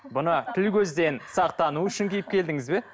мұны тіл көзден сақтану үшін киіп келдіңіз бе